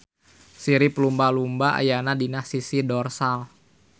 Sirip lumba-lumba ayana dina sisi dorsal.